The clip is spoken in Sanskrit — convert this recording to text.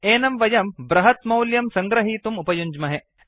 एनं वयं बृहत्मौल्यं सङ्गृहीतुम् उपयुञ्ज्महे